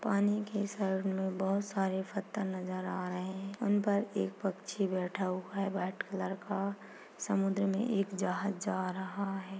पानी के साइड में बहुत सारे पत्थर नजर आ रहे है उन पर एक पक्षी बैठा हुआ है व्हाइट कलर का समुन्द्र में एक जहाज जा रहा है।